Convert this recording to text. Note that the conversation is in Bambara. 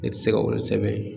Ne ti se ka olu sɛbɛn yen